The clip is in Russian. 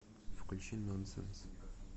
включи нонсенс